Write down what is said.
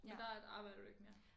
Men der arbejder du ikke mere